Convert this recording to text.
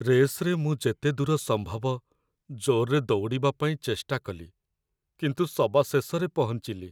ରେସ୍‌ରେ ମୁଁ ଯେତେ ଦୂର ସମ୍ଭବ ଜୋର୍‌ରେ ଦୌଡ଼ିବା ପାଇଁ ଚେଷ୍ଟା କଲି, କିନ୍ତୁ ସବାଶେଷରେ ପହଞ୍ଚିଲି ।